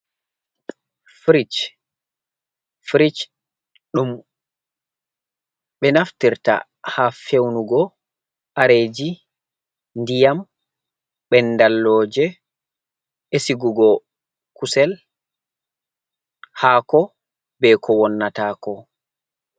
Frich, frich ɗum ɓe naftirta ha feunugo kareji, ndiyam ɓendalloje e sigugo kusel, hako, be ko wonnata ko.